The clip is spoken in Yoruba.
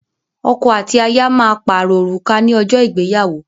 Ọkọ àti aya má parọ Òrùka ní ojó ìgbéyàwó